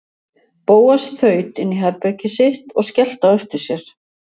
Bóas þaut inn í herbergið sitt og skellti á eftir sér.